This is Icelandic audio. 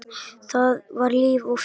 Það var líf og fjör.